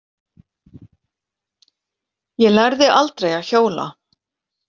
Ég lærði aldrei að hjóla.